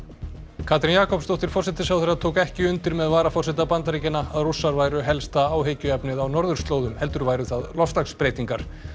Katrín Jakobsdóttir forsætisráðherra tók ekki undir með varaforseta Bandaríkjanna að Rússar væru helsta áhyggjuefnið á norðurslóðum heldur væru það loftslagsbreytingar